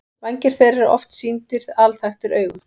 Vængir þeirra eru oft sýndir alþaktir augum.